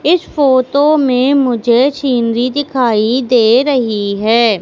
इस फोटो में मुझे सीनरी दिखाई दे रही है।